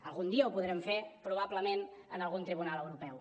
algun dia ho podrem fer probablement en algun tribunal europeu